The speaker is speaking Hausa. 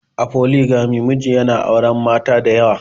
A Foligami, miji yana auren mata da yawa.